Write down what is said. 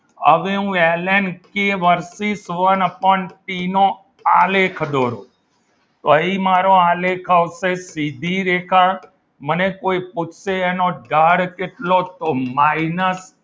હવે હું L N K versus one upon ટીનો આલેખ દોરો તો એ આલેખ આવશે મારો સીધી રેખા ને કોઈ પૂછશે એનો ઢાળ કેટલો minus